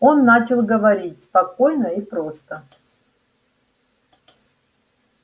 он начал говорить спокойно и просто